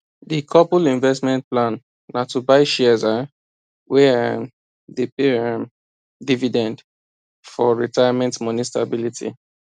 di couple investment plan na to buy shares um wey um dey pay um dividend for retirement money stability